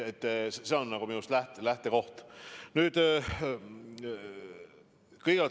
See on minu arust nagu lähtekoht.